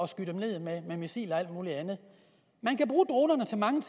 skyde dem ned med missiler og alt muligt andet man kan bruge dronerne til mange